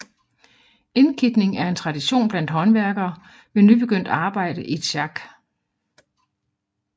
Indkitning er en tradition blandt håndværkere ved nybegyndt arbejde i et sjak